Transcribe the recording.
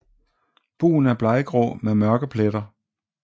Bugen er bleggrå med mørke pletter